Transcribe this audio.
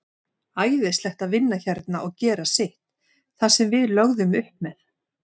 Æðislegt að vinna hérna og gera sitt, það sem við lögðum upp með.